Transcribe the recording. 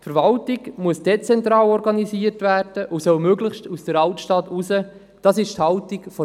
Die Verwaltung muss dezentral organisiert werden, und sie soll möglichst die Altstadt verlassen.